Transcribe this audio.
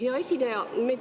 Hea esineja!